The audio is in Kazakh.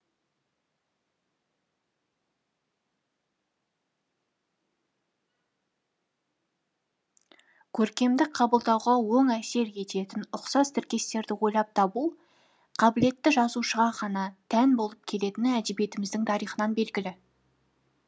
көркемдік қабылдауға оң әсер ететін ұқсас тіркестерді ойлап табу қабілетті жазушыға ғана тән болып келетіні әдебиетіміздің тарихынан белгілі